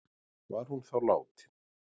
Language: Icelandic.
Var hún þá látin